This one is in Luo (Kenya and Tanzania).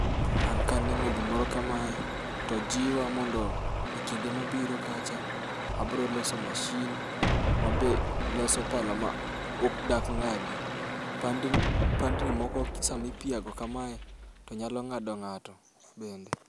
An kaneno gimoro kamae to jiwa mondo ekinde mabiro kacha abiro loso masin ma be loso pala ma dak ng'adi. Pandni moko sama ipiago kamae, to nyalo ng'ado ng'ato bende.